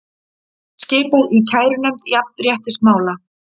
Skipað í kærunefnd jafnréttismála